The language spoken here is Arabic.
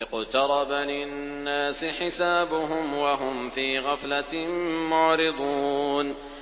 اقْتَرَبَ لِلنَّاسِ حِسَابُهُمْ وَهُمْ فِي غَفْلَةٍ مُّعْرِضُونَ